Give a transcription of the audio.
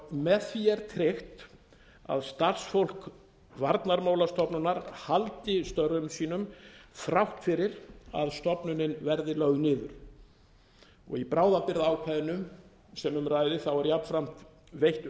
með því er tryggt að starfsfólk varnarmálastofnunar haldi störfum sínum þrátt fyrir að stofnun verði lögð niður í bráðabirgðaákvæðinu sem um ræðir er jafnframt veitt